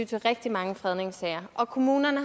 til rigtig mange fredningssager og kommunerne